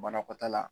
Banakɔtaala